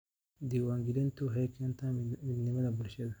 Diiwaangelintu waxay keentaa midnimada bulshada.